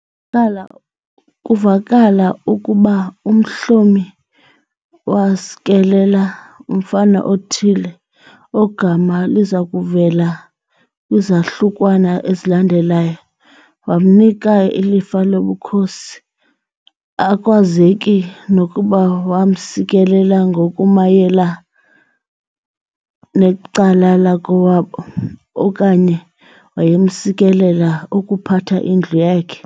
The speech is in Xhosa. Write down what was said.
vakala kuvakala ukuba uMhlomi waasikelela umfana othile, ogama lizakuvela kwizahlukwana ezilandelayo, wamnika ilifa lobukhosi. Akwazeki nokuba waamsikelela ngokumayela necala lakowabo, okanye wayemsikelela ukuphatha indlu yakhe.